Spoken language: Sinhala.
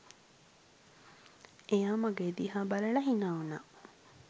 එයා මගෙ දිහා බලලා හිනා වුණා